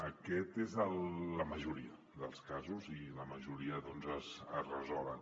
això és en la majoria dels casos i la majoria doncs es resolen